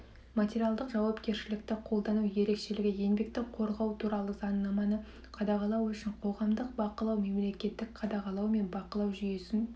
материалдық жауапкершілікті қолдану ерекшелігі еңбекті қорғау туралы заңнаманы қадағалау үшін қоғамдық бақылау мемлекеттік қадағалау мен бақылау жүйесін